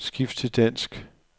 Skift til dansk.